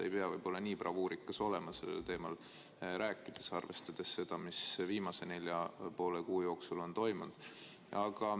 Võib-olla ei peaks nii bravuurikas olema sellel teemal rääkides, arvestades seda, mis viimase nelja ja poole kuu jooksul on toimunud.